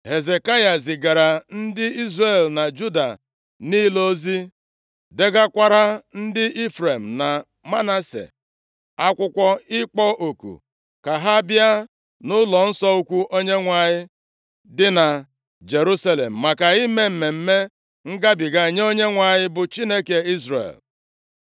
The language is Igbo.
Hezekaya zigaara ndị Izrel na Juda niile ozi, degakwara ndị Ifrem na Manase akwụkwọ ịkpọ oku ka ha bịa nʼụlọnsọ ukwu Onyenwe anyị dị na Jerusalem maka ime Mmemme Ngabiga nye Onyenwe anyị, bụ Chineke Izrel.